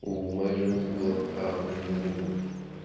у моей жены была права мне изменить